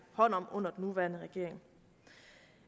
hånd om under den nuværende regering